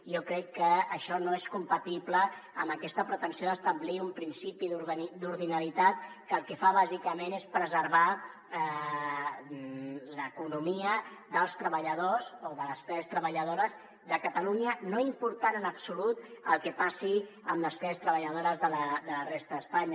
jo crec que això no és compatible amb aquesta pretensió d’establir un principi d’ordinalitat que el que fa bàsicament és preservar l’economia dels treballadors o de les classes treballado·res de catalunya no important en absolut el que passi amb les classes treballadores de la resta d’espanya